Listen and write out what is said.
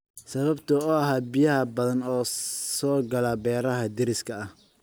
Sababta oo ah biyo badan oo soo gala beeraha deriska ah.